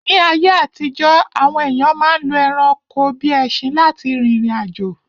Ní ayé àtijọ́, àwọn èyàn ma ń lo ẹranko bíi ẹṣin lá ti rìrìn àjò.